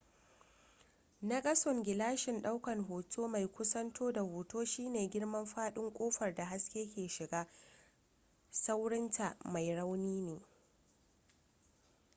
nakasun gilashin daukan hoto mai kusanto da hoto shine girman fadin kofar da haske ke shiga saurinta mai rauni ne